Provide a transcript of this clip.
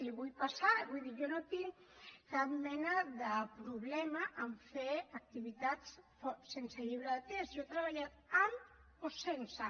els hi vull passar vull dir jo no tinc cap mena de problema a fer activitats sense llibre de text jo he treballat amb o sense